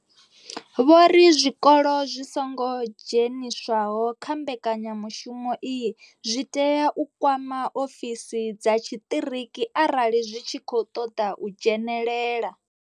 Vho ri zwikolo zwi songo dzheniswaho kha mbekanyamushumo iyi zwi tea u kwama ofisi dza tshiṱiriki arali zwi tshi khou ṱoḓa u dzhenelela.